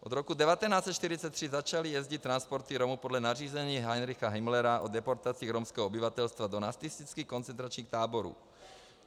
Od roku 1943 začaly jezdit transporty Romů podle nařízení Heinricha Himmlera o deportacích romského obyvatelstva do nacistických koncentračních táborů.